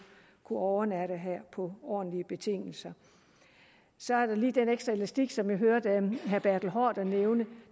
overnatte her på ordentlige betingelser så er der lige den ekstra elastik som jeg hørte herre bertel haarder nævne